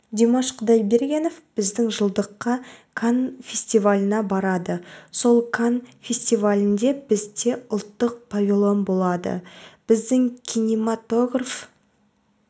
димаш құдайбергенов біздің жылдыққа канн фестиваліне барады сол канн фестивалінде бізде ұлттық павильон болады біздің кинематограф